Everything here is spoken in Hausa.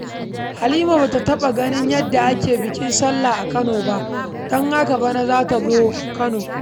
Halima ba ta taɓa ganin yadda ake bikin sallah a Kano ba, don haka bana za ta zo Kano.